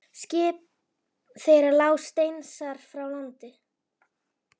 Skip þeirra lá steinsnar frá landi.